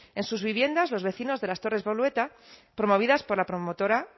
en sus viviendas los vecinos de las torres bolueta promovidas por la promotora